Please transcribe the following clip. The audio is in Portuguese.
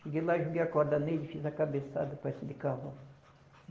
Cheguei lá, joguei a corda nele, fiz a cabeçada,